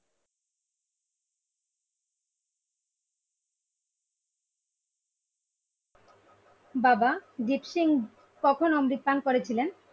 বাবা দ্বীপ সিং কখন অমৃতপান করেছিলেন?